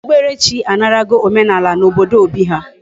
Okpukpere chi anarago omenala na obodo Obi ha